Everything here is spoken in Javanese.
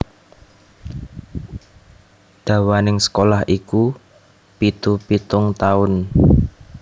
Dawaning sekolah iku pitu pitung taun